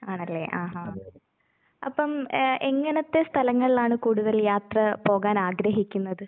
ആണല്ലേ ആഹാ. അപ്പം ഏഹ് എങ്ങനത്തെ സ്ഥലങ്ങളിലാണ് കൂടുതൽ യാത്ര പോകാനാഗ്രഹിക്കുന്നത്?